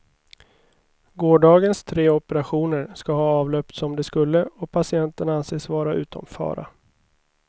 Gårdagens tre opererationer ska ha avlöpt som de skulle och patienterna anses vara utom fara.